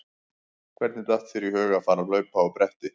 Hvernig datt þér í hug að fara að hlaupa á bretti?